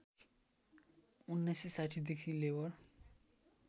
१९६० देखि लेबर